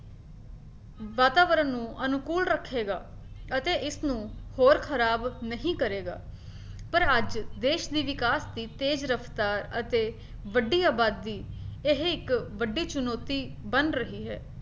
ਵਾਤਾਵਰਨ ਨੂੰ ਅਨੁਕੂਲ ਰੱਖੇਗਾ ਅਤੇ ਇਸਨੂੰ ਹੋਰ ਖਰਾਬ ਨਹੀਂ ਕਰੇਗਾ, ਪਰ ਅੱਜ ਦੇਸ਼ ਦੀ ਵਿਕਾਸ ਦੀ ਤੇਜ ਰਫਤਾਰ ਅਤੇ ਵੱਡੀ ਅਬਾਦੀ ਇਹ ਇੱਕ ਵੱਡੀ ਚੁਣੌਤੀ ਬਣ ਰਹੀ ਹੈ